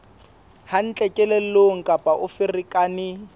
hantle kelellong kapa o ferekane